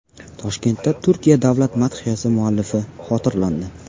Toshkentda Turkiya davlat madhiyasi muallifi xotirlandi.